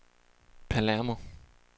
Palermo